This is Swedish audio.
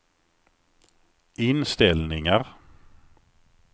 inställningar